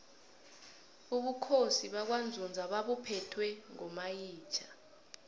ubukhosi bakwanzunza babuphetwe ngomayitjha